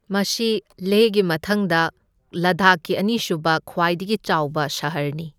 ꯃꯁꯤ ꯂꯦꯍꯒꯤ ꯃꯊꯪꯗ ꯂꯗꯥꯈꯀꯤ ꯑꯅꯤꯁꯨꯕ ꯈ꯭ꯋꯥꯏꯗꯒꯤ ꯆꯥꯎꯕ ꯁꯍꯔꯅꯤ꯫